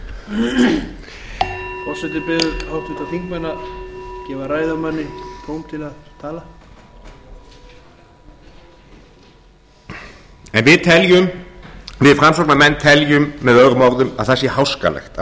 biður háttvirtir þingmenn að gefa ræðumanni tóm til að tala við framsóknarmenn teljum möo að það sé háskalegt að